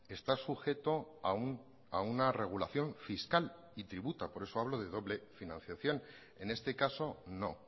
está sujeto a una regulación fiscal y tributa por eso hablo de doble financiación en este caso no